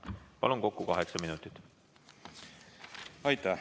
Palun, kokku kaheksa minutit!